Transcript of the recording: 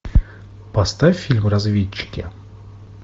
поставь фильм разведчики